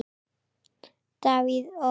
Davíð OK.